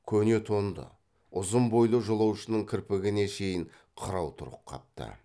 көне тонды ұзын бойлы жолаушының кірпігіне шейін қырау тұрып қапты